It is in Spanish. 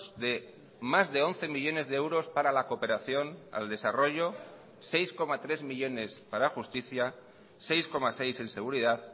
de más de once millónes de euros para la cooperación al desarrollo seis coma tres millónes para justicia seis coma seis en seguridad